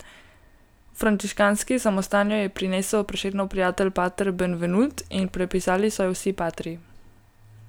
V frančiškanski samostan jo je prinesel Prešernov prijatelj pater Benvenut, in prepisali so jo vsi patri.